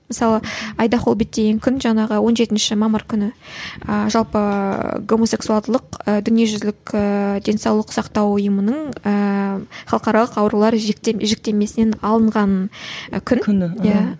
мысалы айдахоббит деген күн жаңағы он жетінші мамыр күні і жалпы гомосексуалдылық і дүниежүзілік ііі денсаулық сақтау ұйымының ііі халықаралық аурулар жіктемесінен алынған күн иә